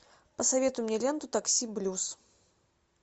посоветуй мне ленту такси блюз